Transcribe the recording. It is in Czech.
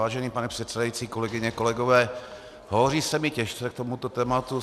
Vážený pane předsedající, kolegyně, kolegové, hovoří se mi těžce k tomuto tématu.